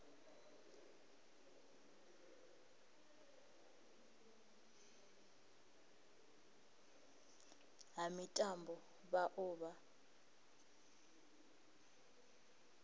ha mitambo vha o vha